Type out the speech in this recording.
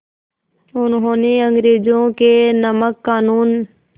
उन्होंने अंग्रेज़ों के नमक क़ानून